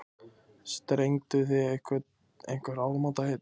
Strengduð þið einhver áramótaheit?